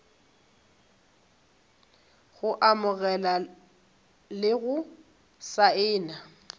go amogela le go saena